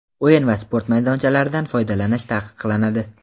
O‘yin va sport maydonchalaridan foydalanish taqiqlanadi.